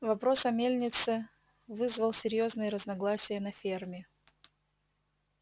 вопрос о мельнице вызвал серьёзные разногласия на ферме